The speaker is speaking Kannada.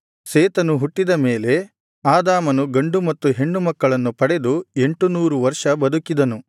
ಸೇತನು ಹುಟ್ಟಿದ ಮೇಲೆ ಆದಾಮನು ಗಂಡು ಮತ್ತು ಹೆಣ್ಣು ಮಕ್ಕಳನ್ನು ಪಡೆದು ಎಂಟುನೂರು ವರ್ಷ ಬದುಕಿದನು